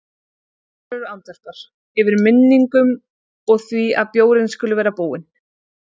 Brynjólfur andvarpar, yfir minningunum og því að bjórinn skuli vera búinn.